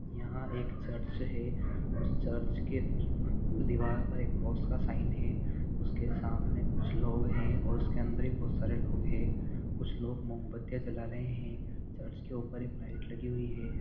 यह एक चर्च है उस चर्च के दिवाल पर एक क्रोस का साइन है उसके सामने कुछ लोग है उसके अंदर बहुत सरे लोग है कुछ लोग मोमबत्तियां जला रहे है चर्च ऊपर एक लाइट लगी हुई है ।